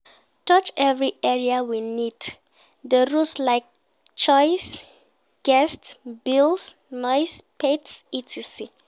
Touch every area we need di rules like chores, guests, bills, noise, pets etc.